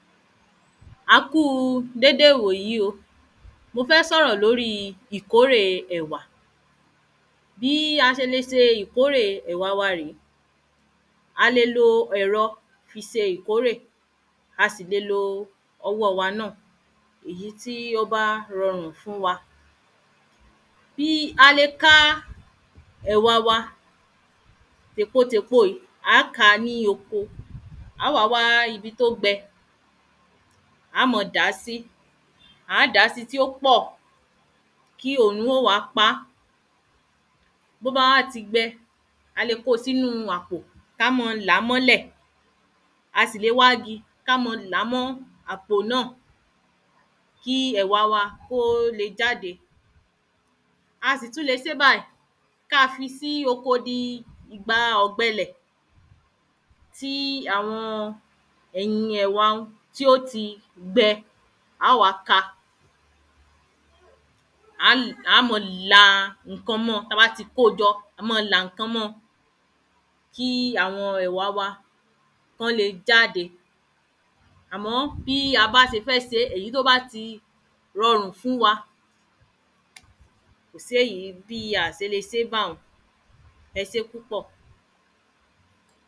a kú déédé ìwòyí o, mo fẹ́ sọ̀rọ̀ lóri ìkórè ẹ̀wà. Bí a ṣe lè ṣe ìkórè ẹ̀wà wa rè é a lè lo ẹ̀rọ fi ṣe ìkórè a sì lè lo ọwọ́ wa náà èyí tí ó bá rọrùn fún wa a lè ká ẹ̀wà wa á ka tèpo tèpo yìí a ka ní oko a wa wa ibi tó gbẹ a máa dàá síi, a dàá síi tó pọ̀ kí òòrùn yóò ma pa tó bá wá ti gbẹ a lè kó si inú àpò, ká máa làá mọ́lẹ̀ tàbí a lè wá igi ká má a là mọ́ àpò náà kí ẹ̀wà wa kó lè jáde a sì tún lè ṣe báyìí, ká fi sí oko di ìgbà ògbẹlẹ̀ kí àwọn ẹ̀yin ọ̀dọ wa òun tí ó ti gbẹ a wá ká a a máa la ǹkan mọ́ ọ ta bá ti kóo jọ a má a la ǹkan mọ́ ọ kí àwọn ẹ̀wà wa ki wọle jáde àmọ́ bí a bá ṣe fẹ́ ṣe, èyí tó bá lè rorun fún wa kò sí èyí bi a ò ṣe lè ṣe báyẹn ẹ ṣé púpọ̀